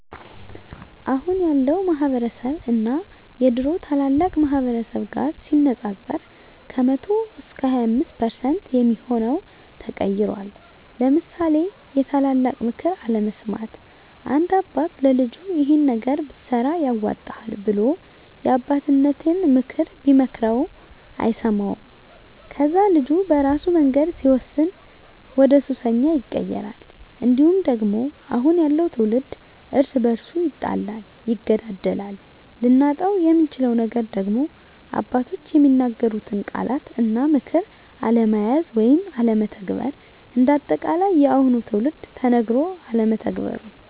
አሁን ያለው ማህበረስብ እና የድሮ ታላላቅ ማህበረሰብ ጋር ሲነፃፀር ከ100% 25% የሚሆው ተቀይሯል ለምሳሌ የታላላቅ ምክር አለመስማት፦ አንድ አባት ለልጁ ይሄን ነገር ብትሰራ ያዋጣሀል ብሎ የአባቴነተን ምክር ቢመክረው አይሰማውም ከዛ ልጁ በራሱ መንገድ ሲወስን ወደሱሰኛ ይቀየራል። እንዲሁም ደግሞ አሁን ያለው ትውልድ እርስ በርሱ ይጣላል ይገዳደላል። ልናጣው የምንችለው ነገር ደግሞ አባቶች የሚናገሩትን ቃላት እና ምክር አለመያዝ ወይም አለመተግበር። እንደ አጠቃላይ የአሁኑ ትውልድ ተነገሮ አለመተግበሩ